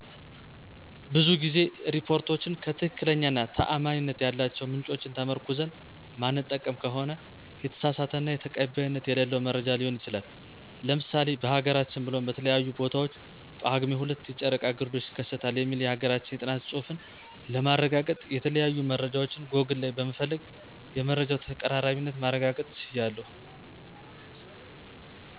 ብዙ ጊዜ ሪፓርቶችን ከትክክለኛ እና ታአማኒነት ያላቸው ምንጮችን ተመርኩዘን ማንጠቀም ከሆነ የተሳሳተ እና ተቀባይነት የሌለው መረጃ ሊሆን ይችላል። ለምሳሌ በሀገራችን ብሎም በተለያዩ ቦታዎች ጳጉሜ 2 የጨረቃ ግርዶሽ ይከሰታል የሚል የሀገራችን የጥናት ፅሁፍን ለማረጋገጥ የተለያዩ መረጃዎችን ጎግል ላይ በመፈለግ የመረጃው ተቀራራቢነትን ማረጋገጥ ችያለሁ።